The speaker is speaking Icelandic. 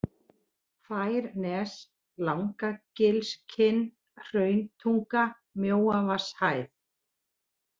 Færnes, Langagilskinn, Hrauntunga, Mjóavatnshæð